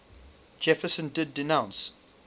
jefferson did denounce